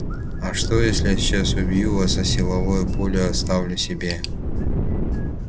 а что если я сейчас убью вас а силовое поле оставлю себе